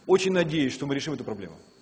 очень надеюсь что мы решим эту проблем